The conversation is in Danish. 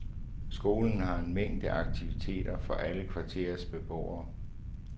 Skolen har en mængde aktiviteter for alle kvarterets beboere.